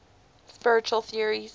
spiritual theories